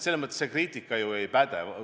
Selles mõttes see kriitika ju ei päde.